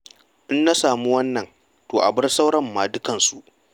In na samu wannan, to a bar sauran ma dukkansu.